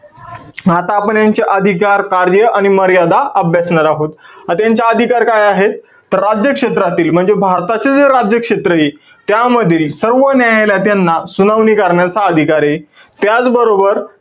आता आपण यांचे अधिकार, कार्य आणि मर्यादा अभ्यासणार आहोत. आता यांचे अधिकार काय आहेत? तर राज्य क्षेत्रातील म्हणजे भारताचे जे राज्यक्षेत्रय, त्यामध्ये सर्व न्यायालयात त्यांना सुनावणी करण्याचा अधिकारे. त्याचबरोबर,